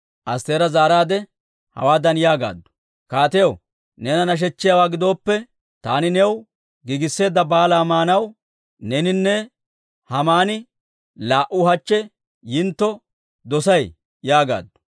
Astteera zaaraadde hawaadan yaagaaddu; «Kaatiyaw, neena nashechchiyaawaa gidooppe, taani new giigisseedda baalaa maanaw neeninne Haamani laa"u hachche yintto dosay» yaagaaddu.